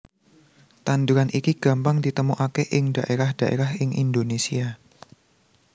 Tanduran iki gampang ditemokaké ing dhaérah dhaérah ing Indonésia